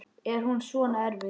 Er hún svona erfið?